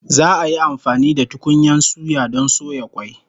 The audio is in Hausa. Za'a yi amfani da tukunyan suya don soya kwai